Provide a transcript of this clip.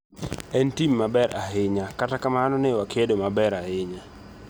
En tim maber ahinya, kata kamano ne wakedo maber ahinya.